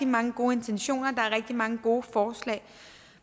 mange gode intentioner der er rigtig mange gode forslag